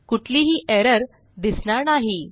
कुठलीही एरर दिसणार नाही